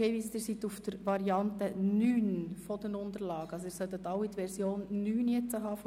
Sie sollten jetzt alle die Version 9 der Anträge vor sich haben.